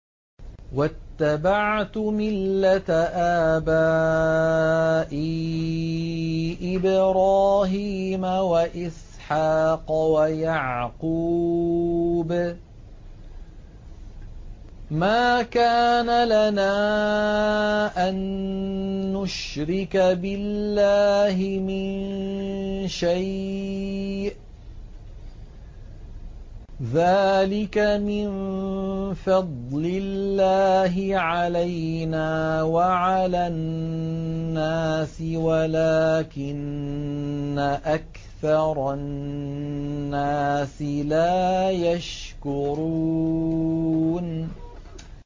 وَاتَّبَعْتُ مِلَّةَ آبَائِي إِبْرَاهِيمَ وَإِسْحَاقَ وَيَعْقُوبَ ۚ مَا كَانَ لَنَا أَن نُّشْرِكَ بِاللَّهِ مِن شَيْءٍ ۚ ذَٰلِكَ مِن فَضْلِ اللَّهِ عَلَيْنَا وَعَلَى النَّاسِ وَلَٰكِنَّ أَكْثَرَ النَّاسِ لَا يَشْكُرُونَ